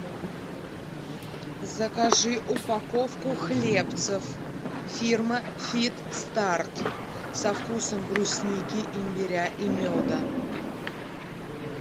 закажи упаковку хлебцев фирмы фит старт со вкусом брусники имбиря и меда